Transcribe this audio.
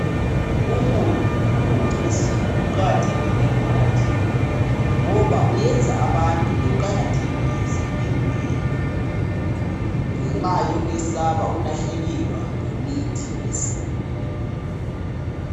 Umuthi wesintu uqakathekile emphakathini ngoba uyenza abantu beqakathekise imvelo ngenxa yokwesaba ukulahlekelwa yimithi yesintu.